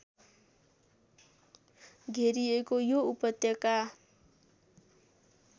घेरिएको यो उपत्यका